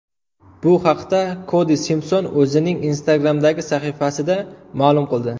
Bu haqda Kodi Simpson o‘zining Instagram’dagi sahifasida ma’lum qildi .